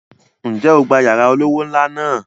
Ǹjẹ́ o gba yàrá olówó ńlá náà?